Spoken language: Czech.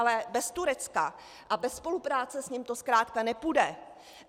Ale bez Turecka a bez spolupráce s ním to zkrátka nepůjde.